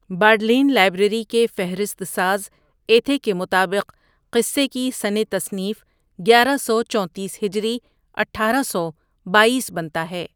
Bodleian library کے فہرست ساز ایتھے کے مطابق قصے کی سنِ تصنیف گیارہ سو چونتیس ہجری اٹھارہ سو بایس بنتا ہے ۔